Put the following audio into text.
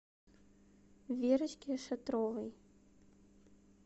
верочке шатровой